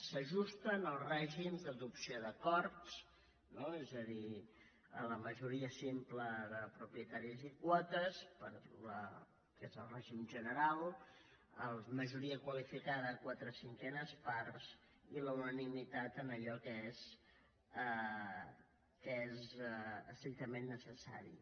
s’ajusten al règim d’adopció d’acords no és a dir a la majoria simple de propietaris i quotes que és el règim general a la majoria qualificada de quatre cinquenes parts i a la unanimitat en allò que és estrictament necessari